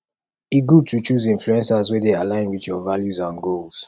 e good to choose influencers wey dey align with your values and goals